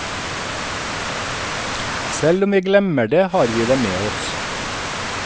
Selv om vi glemmer det, har vi det med oss.